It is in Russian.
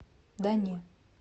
да не